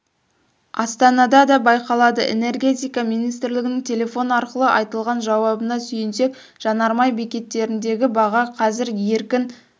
астанада да байқалды энергетика министрлігінің телефон арқылы айтылған жауабына сүйенсек жанармай бекеттеріндегі баға қазір еркін